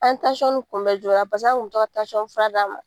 An ye nin kunbɛ joona pase an tun be to ka fura d'a ma..